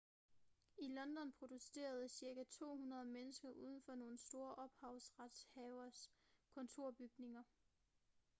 i london protesterede cirka 200 mennesker uden for nogle store ophavsretshaveres kontorbygninger